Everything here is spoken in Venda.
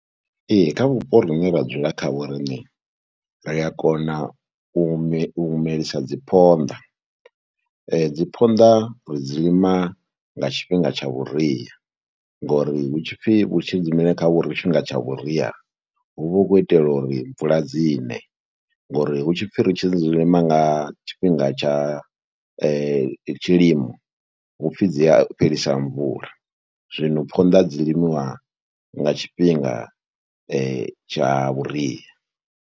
Ee, kha vhupo ri ne ra dzula khavho riṋe ri a kona u me u melisa dzi phonḓa. Dzi phonḓa ri dzi lima nga tshifhinga tsha vhuria ngori hu tshi pfhi vhu tshi dzi mele kha tshifhinga tsha vhuria hu vha hu khou itela uri mvula dzi ne. Ngori hu tshi pfhi ri tshi dzi lima nga tshifhinga tsha tshilimo hu pfhi dzi a fhelisa mvula. Zwino phonḓa dzi limiwa nga tshifhinga tsha vhuria.